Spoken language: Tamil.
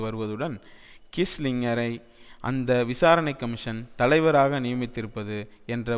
வருவதுடன் கிஸ்லிங்கரை அந்த விசாரணை கமிஷன் தலைவராக நியமித்திருப்பது என்ற